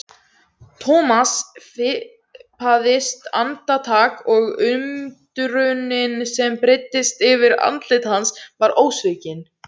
Thomas fipaðist andartak og undrunin sem breiddist yfir andlit hans var ósvikin.